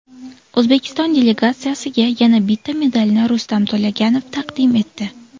O‘zbekiston delegatsiyasiga yana bitta medalni Rustam To‘laganov taqdim etdi.